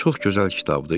Çox gözəl kitabdır.